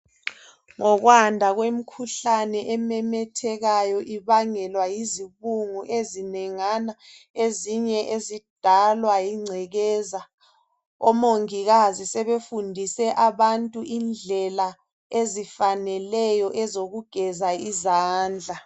Ngokwanda kwemikhuhlane ememethekayo ibangelwa yizibungu ezinengana ezinye ezidalwa yingcekeza omongikazi sebefundise abantu indlela ezifaneleyo ezokugeza izandla.